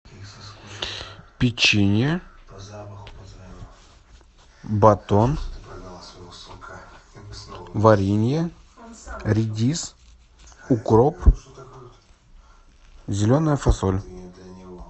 печенье батон варенье редис укроп зеленая фасоль